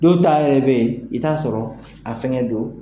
Dow ta yɛrɛ bɛ ye i t'a sɔrɔ a fɛŋɛ don